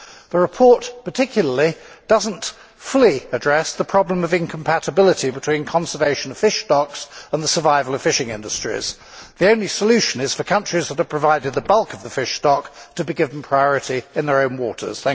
The report particularly does not fully address the problem of incompatibility between the conservation of fish stocks and the survival of fishing industries. The only solution is for countries that have provided the bulk of the fish stock to be given priority in their own waters.